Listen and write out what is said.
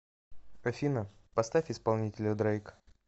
афина поставь исполнителя дрейк